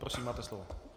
Prosím, máte slovo.